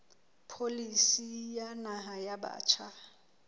pholisi ya naha ya batjha